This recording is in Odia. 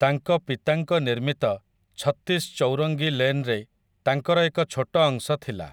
ତାଙ୍କ ପିତାଙ୍କ ନିର୍ମିତ 'ଛତ୍ତିଶ୍ ଚୌରଙ୍ଗି ଲେନ୍' ରେ ତାଙ୍କର ଏକ ଛୋଟ ଅଂଶ ଥିଲା ।